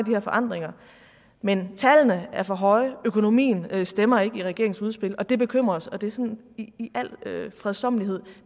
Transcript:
de her forandringer men tallene er for høje økonomien stemmer ikke i regeringens udspil og det bekymrer os og det er sådan i al fredsommelighed